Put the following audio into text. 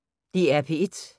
DR P1